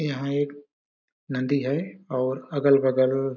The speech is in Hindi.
यहाँ एक नदी है और अगल-बगल--